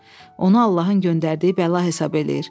Onu Allahın göndərdiyi bəla hesab eləyir.